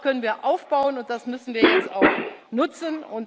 Darauf können wir aufbauen, und das müssen wir jetzt auch nutzen.